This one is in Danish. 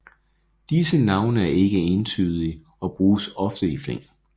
Disse navne er ikike entydige og bruges ofte i flæng